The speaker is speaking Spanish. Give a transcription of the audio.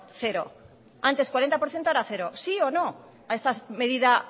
cero antes cuarenta por ciento ahora cero sí o no a estas medidas